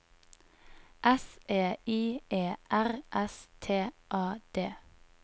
S E I E R S T A D